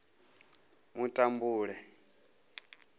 mutambule